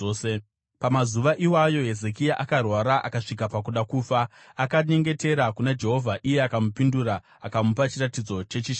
Pamazuva iwayo Hezekia akarwara akasvika pakuda kufa. Akanyengetera kuna Jehovha iye akamupindura akamupa chiratidzo chechishamiso.